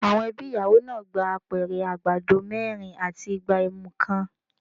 Àwọn ẹbí ìyàwó náà gba Apẹ̀rẹ̀ àgbàdo mẹ́rin àti igbá ẹmu kan.